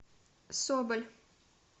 соболь